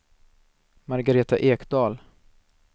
Margareta Ekdahl